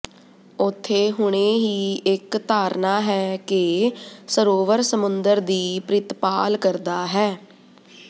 ਉੱਥੇ ਹੁਣੇ ਹੀ ਇੱਕ ਧਾਰਨਾ ਹੈ ਕਿ ਸਰੋਵਰ ਸਮੁੰਦਰ ਦੀ ਪ੍ਰਿਤਪਾਲ ਕਰਦਾ ਹੈ